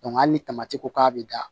hali ni tamati ko k'a bɛ da